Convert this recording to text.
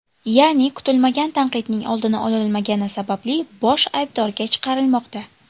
Ya’ni, kutilmagan tanqidning oldini ololmagani sababli bosh aybdorga chiqarilmoqda.